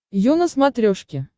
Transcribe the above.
ю на смотрешке